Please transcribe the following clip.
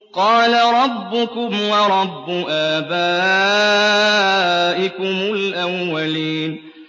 قَالَ رَبُّكُمْ وَرَبُّ آبَائِكُمُ الْأَوَّلِينَ